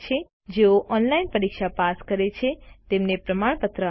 જેઓ ઓનલાઇન પરીક્ષા પાસ કરે છે તેમને પ્રમાણપત્ર આપે છે